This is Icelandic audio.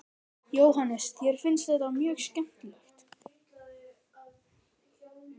Jóhannes: Þér finnst þetta mjög skemmtilegt?